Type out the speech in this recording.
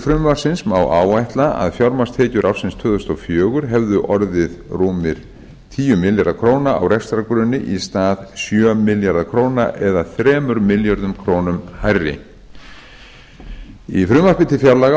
frumvarpsins má áætla að fjármagnstekjur ársins tvö þúsund og fjögur hefðu orðið rúmir tíu milljarðar króna á rekstrargrunni í stað sjö milljarða króna eða þremur milljörðum króna hærri í frumvarpi til fjárlaga árið